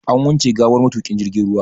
An wanke gawar matuƙin jirgin ruwa.